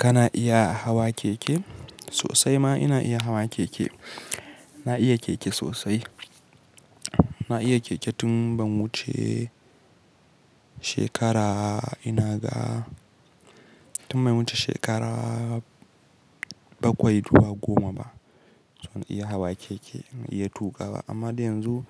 Kana iya hawa keke? Sosai ma ina iya hawa keke. Na iya keke sosai. Na iya keke tun ban wuce shekara ina ga-- tun bai wuce shekara bakwai dubu goma ba. Tun na iya hawa keke, na iya tuƙa ba. Amma dai yanzu